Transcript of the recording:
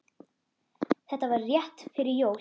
Þetta var rétt fyrir jól.